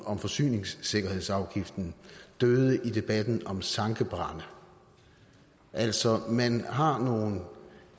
om forsyningssikkerhedsafgiften døde i debatten om sankebrænde altså man har nogle